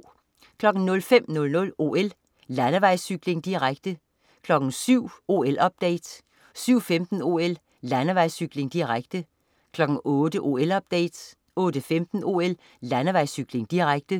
05.00 OL: Landevejscykling, direkte 07.00 OL-update 07.15 OL: Landevejscykling, direkte 08.00 OL-update 08.15 OL: Landevejscykling, direkte